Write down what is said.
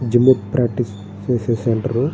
Zumba practice చేసే centre .